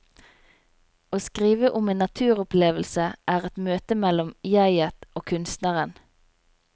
Å skrive om en naturopplevelse, er et møte mellom jeget og kunstneren.